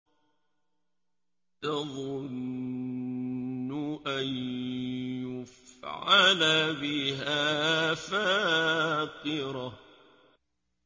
تَظُنُّ أَن يُفْعَلَ بِهَا فَاقِرَةٌ